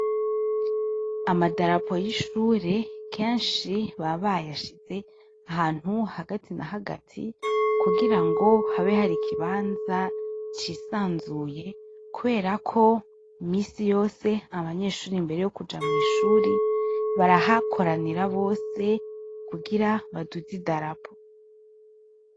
Amadarapo y’ishure kenshi baba bayashize ahantu hagati na hagati kugira ngo habe hari ikibanza cisanzuye, kubera ko minsi yose abanyeshure imbere yokuja mwishure barahakoranira bose kugira baduze idarapo.